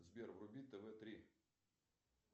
сбер вруби тв три